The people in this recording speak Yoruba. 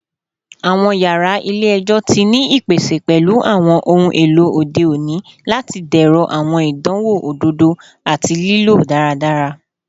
Awọn yara ile-ẹjọ ti ni ipese pẹlu awọn ohun elo ode oni lati dẹrọ awọn idanwo ododo ati lilo daradara